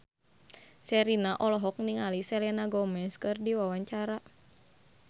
Sherina olohok ningali Selena Gomez keur diwawancara